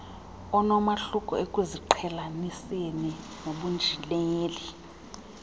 onomahluko ekuziqhelaniseni nobunjineli